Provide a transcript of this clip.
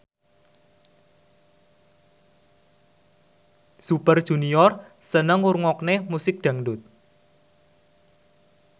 Super Junior seneng ngrungokne musik dangdut